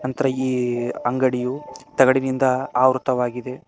ಇತರ ಈ ಅಂಗಡಿಯು ತಗಡಿನಿಂದ ಆವೃತವಾಗಿದೆ.